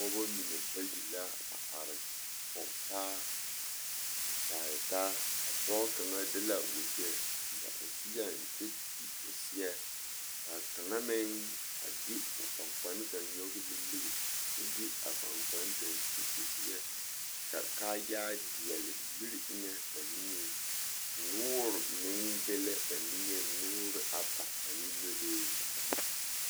Pɔgebɔ mine bayi la a are kɔgetaaa kyaare taa, a pɔge kaŋa de la wegyɛ seɛ o seɛŋ kyɛ te o seɛ ka kaŋa meŋ a de o kpaŋkpane nyɔge nimmiri kyɛ de a kpaŋkpane kaŋa te o seɛ kyɛ ka kaayaa deɛle miri eŋɛ ba niŋeŋ noore meŋ be la ba niŋeŋ, noore ata ane nɔlee.